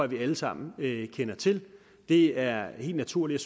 vi alle sammen kender til det er helt naturligt